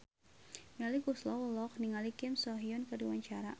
Melly Goeslaw olohok ningali Kim So Hyun keur diwawancara